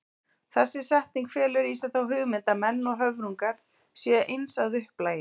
Þessi setning felur í sér þá hugmynd að menn og höfrungar séu eins að upplagi.